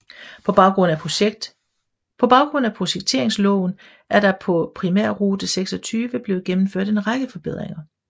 På baggrund af projekteringsloven er der på Primærrute 26 blevet gennemført en række forbedringer